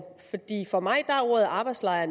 for mig er ordet arbejdslejr